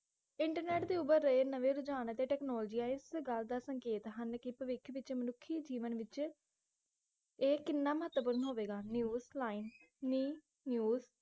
internet ਦੇ ਉਭਰ ਰਹੇ ਨਵੇਂ ਵਿਧਾਨ ਅਤੇ ਟੈਕਨੋਲਜੀਆਂ ਇਸ ਗੱਲ ਦਾ ਸੰਕੇਤ ਹਨ ਕਿ ਭਵਿੱਖ ਵਿਚ ਮਨੁੱਖੀ ਜੀਵਨ ਵਿਚ ਇਹ ਕਿੰਨਾ ਮਹੱਤਵਪੂਰਨ ਹੋਵੇਗਾ ਨਿਯੁਸ ਲਾਇਨ ਨੀ ਯੂਸ